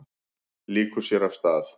Lýkur sér af.